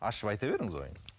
ашып айта беріңіз ойыңызды